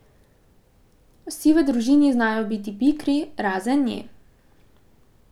Vsi v družini znajo biti pikri, razen nje.